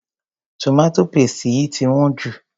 Tomato paste yìí ti wón ju.